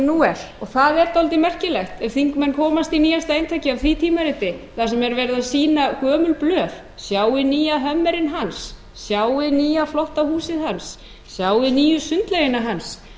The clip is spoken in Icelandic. nú er það er dálítið merkilegt ef þingmenn komast í nýjasta eintakið af því tímariti þar sem er verið að sýna gömul blöð sjáið nýja hummerinn hans sjáið nýja flotta húsið hans sjáið nýju sundlaugina hans